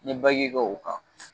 N ye kɛ o kan